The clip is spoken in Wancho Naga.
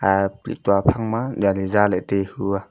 ah lihtua phangma jali zalah e taihua.